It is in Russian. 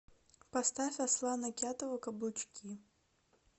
поставь аслана кятова каблучки